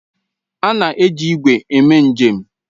A na-eji ígwè eme njem.